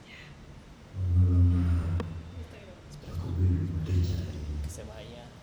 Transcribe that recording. Anyuola mare chako bedo modich ahinya.